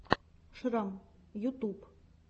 шрам ютуб